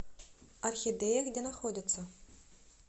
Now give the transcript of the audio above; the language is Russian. орхидея где находится